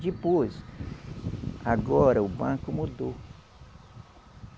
Depois, agora, o banco mudou.